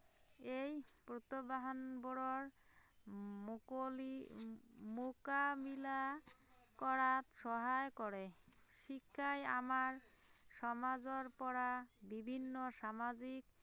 এই প্ৰত্য়াহ্বানবোৰৰ উম মুকলি উম মুকাবিলা কৰাত সহায় কৰে, শিক্ষাই আমাৰ সমাজৰ পৰা বিভিন্ন সামাজিক